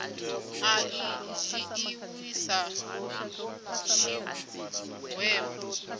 a i dzhiiwi sa tshigwevho